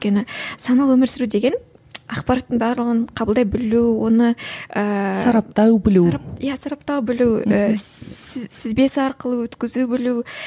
өйткені саналы өмір сүру деген ақпараттың барлығын қабылдай білу оны ыыы сараптау білу иә сараптау білу ііі сүзбесі арқылы өткізе білу